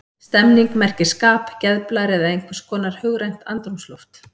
Stemning merkir skap, geðblær eða einhvers konar hugrænt andrúmsloft.